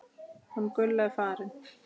Hún Gulla er farin